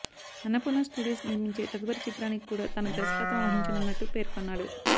Annapurna studios నిర్మించే తదుపరి చిత్రానికి కూడా తాను దర్శకత్వం వహించనున్నట్టు పేర్కొన్నాడు